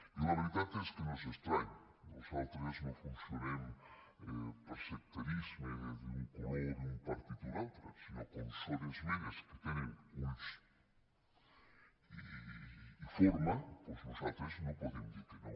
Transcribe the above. i la veritat és que no és estrany nosaltres no funcionem per sectarisme d’un color d’un partit o un altre sinó que com són esmenes que tenen ulls i forma doncs nosaltres no podem dir que no